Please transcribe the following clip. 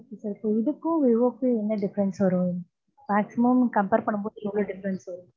so இதுக்கும் Vivo க்கு என்ன difference வரும்? maximum compare பண்ண முடியாது.